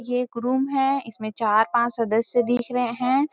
ये रूम है इसमें चार-पांच सदस्य दिख रहे हैं।